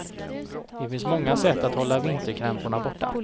Det finns många sätt att hålla vinterkrämporna borta.